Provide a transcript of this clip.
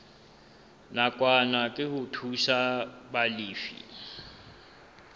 nakwana ke ho thusa balefi